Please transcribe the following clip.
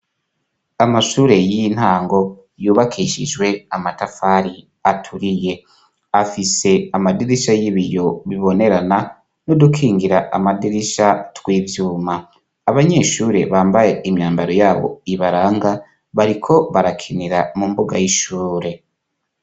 Amashure y'intango, yubakishijwe amatafari aturiye, afise amadirisha y'ibiyo bibonerana, nu dukingira amadirisha tw'ivyuma, abanyeshure bambaye imyambaro yabo ibaranga bariko barakinira mu mbuga y'ishure.